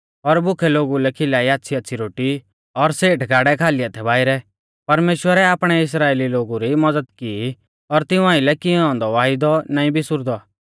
और भुखै लोगु लै खिलाई आच़्छ़ीआच़्छ़ी रोटी और सेठ गाड़ै खाली हाथै बाइरै परमेश्‍वरै आपणै इस्राइली लोगु री मज़द की और तिऊं आइलै कियौ औन्दौ आपणौ वायदौ नाईं बिसुरदौ